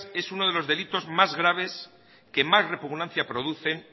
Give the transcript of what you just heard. es uno de los delitos más graves que más repugnancia producen